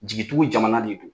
Jigitugu jamana de don